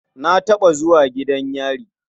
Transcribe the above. Na taɓa zuwa gidan yari.